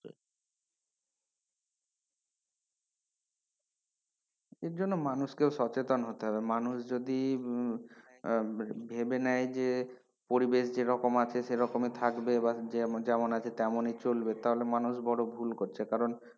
এজন্য মানুষকেও সচেতন হতে হবে, মানুষ যদি আহ ভেবে নাই যে পরিবেশ যেরকম আছে সেরকমই থাকবে বা যেমন আছে তেমনই চলবে, তাহলে মানুষ বড় ভুল করছে কারন,